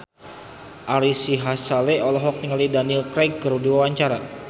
Ari Sihasale olohok ningali Daniel Craig keur diwawancara